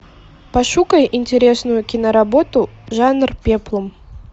пошукай интересную киноработу жанр пеплум